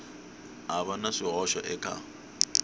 ha va na swihoxo eka